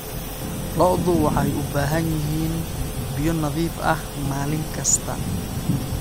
Lo'du waxay u baahan yihiin biyo nadiif ah maalin kasta.